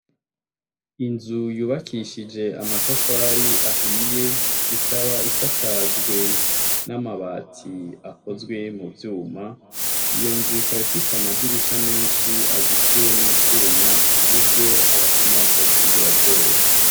Inzu yubakishije amatafari ahiye, ikaba isakajwe n'amabati akozwe mu vyuma. Iyo nzu ikaba ifise amadirisha menshi azitiwe n'utwuma ku buryo abasuma batokwinjira vyoroshe.